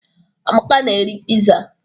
Amaka na-eri piza.